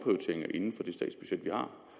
i den tidligere